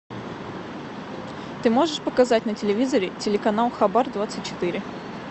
ты можешь показать на телевизоре телеканал хабар двадцать четыре